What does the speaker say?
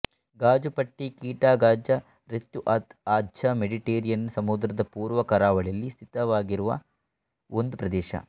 Gaza ಪಟ್ಟಿ ಕಿಟಾ ಗಾಜ್ಜಾ ರೆತ್ಜುಅತ್ ಆಜ್ಜಾ ಮೆಡಿಟೆರೇನಿಯನ್ ಸಮುದ್ರದ ಪೂರ್ವ ಕರಾವಳಿಯಲ್ಲಿ ಸ್ಥಿತವಾಗಿರುವ ಒಂದು ಪ್ರದೇಶ